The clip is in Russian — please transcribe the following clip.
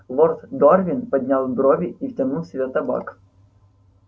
лорд дорвин поднял брови и втянул в себя табак